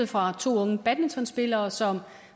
fra to unge badmintonspillere som